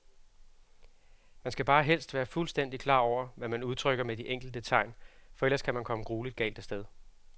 Man skal bare helst være fuldstændigt klar over, hvad man udtrykker med de enkelte tegn, for ellers kan man komme grueligt galt af sted.